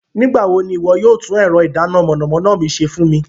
Nigbawo ni iwọ yóò tun ẹrọ idana mọnamọna mi ṣe fun mi?